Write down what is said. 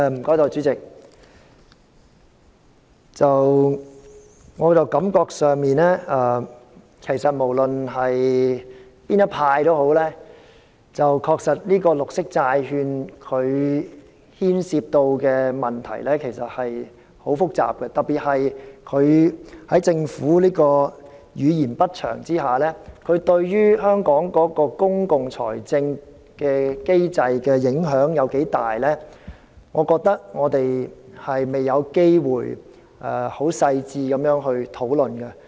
代理主席，我感覺上不論是哪一派的議員都認為綠色債券牽涉的問題很複雜，特別在政府語焉不詳的情況下，對香港公共財政的機制的影響有多大，我認為我們未有機會進行細緻的討論。